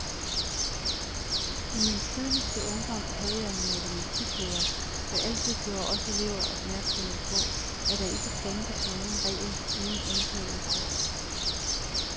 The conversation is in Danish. I min tidligste ungdom havde jeg en matematiklærer, der altid gjorde os elever opmærksomme på, at der ikke fandtes nogen regel uden undtagelse.